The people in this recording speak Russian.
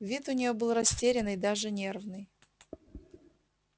вид у нее был растерянный даже нервный